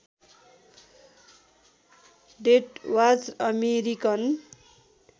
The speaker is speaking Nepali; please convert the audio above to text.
deathwatch American